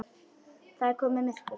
Það er komið myrkur.